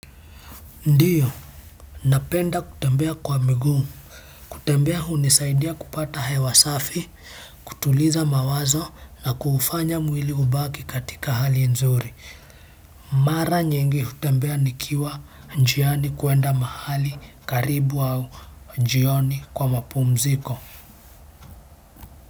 Ndiyo napenda kutembea kwa miguu kutembea hunisaidia kupata hewa safi kutuliza mawazo na kufanya mwili ubaki katika hali nzuri mara nyingi hutembea nikiwa njiani kuenda mahali karibu au jioni kwa mapumziko.